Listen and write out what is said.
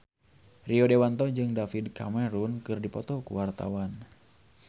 Rio Dewanto jeung David Cameron keur dipoto ku wartawan